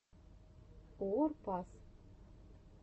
уор пас